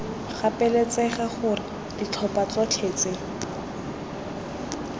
gapeletsega gore ditlhopha tsotlhe tse